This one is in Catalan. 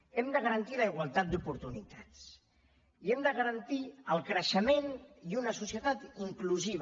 hem de garantir la igualtat d’oportunitats i hem de garantir el creixement i una societat inclusiva